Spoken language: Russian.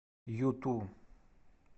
юту